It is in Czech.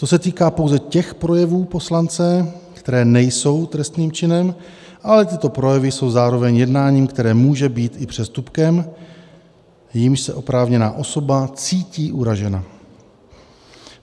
To se týká pouze těch projevů poslance, které nejsou trestným činem, ale tyto projevy jsou zároveň jednáním, které může být i přestupkem, jímž se oprávněná osoba cítí uražena.